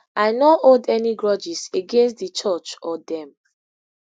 i no hold any grudges against di church or dem